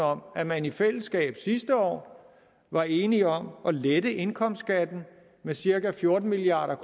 om at man i fællesskab sidste år var enige om at lette indkomstskatten for cirka fjorten milliard